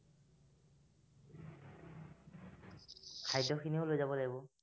খাদ্য খিনিও লৈ যাব লাগিব